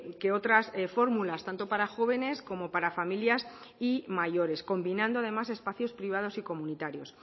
que otras fórmulas tanto para jóvenes como para familias y mayores combinando además espacios privados y comunitarios